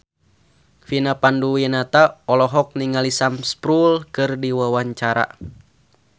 Vina Panduwinata olohok ningali Sam Spruell keur diwawancara